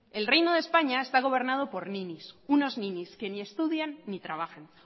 el reino de españa está gobernado por ninis unos ninis que ni estudian ni trabajan